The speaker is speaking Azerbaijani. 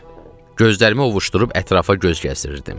Gözlərimi ovuşdurub ətrafa göz gəzdirirdim.